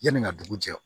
Yanni n ka dugu jɛ